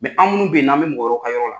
an minnu bɛ ye n'an bɛ mɔgɔ wɛrɛw ka yɔrɔ la.